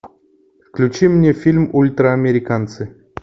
включи мне фильм ультраамериканцы